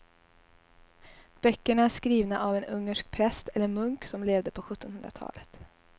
Böckerna är skrivna av en ungersk präst eller munk som levde på sjuttonhundratalet.